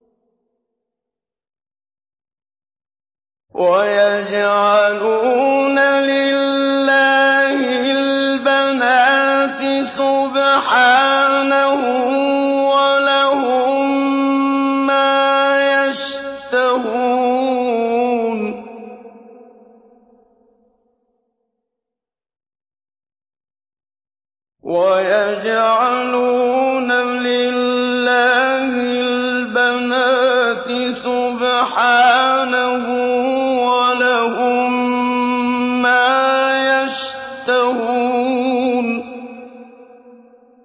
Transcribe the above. وَيَجْعَلُونَ لِلَّهِ الْبَنَاتِ سُبْحَانَهُ ۙ وَلَهُم مَّا يَشْتَهُونَ